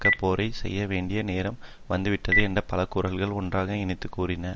தக்க போரை செய்ய வேண்டிய நேரம் வந்துவிட்டது என்று பல குரல்கள் ஒன்றாக இணைந்து கூறின